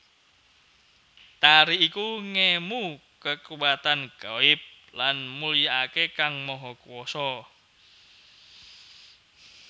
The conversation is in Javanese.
Tari iku ngemu kekuwatan ghaib lan mulyakake Kang Maha Kuwasa